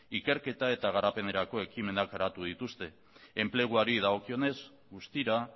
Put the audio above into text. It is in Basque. ikerketa eta garapenerako ekimenak garatu dituzte enpleguari dagokionez guztira